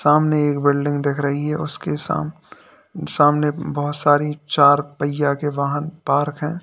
सामने एक बिल्डिंग दिख रही है उसके साम सामने बहुत सारी चार पहिया के वाहन पार्क हैं।